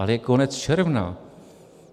Ale je konec června.